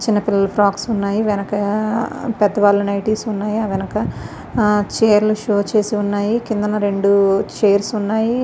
చిన్నపిల్లల ఫ్రాక్స్ ఉన్నాయి వెనక పెద్దవాళ్ల నైటీస్ ఉన్నాయి ఆ వెనక చైర్లు షో చేసి ఉన్నాయి కింద రెండు చైర్స్ ఉన్నాయి.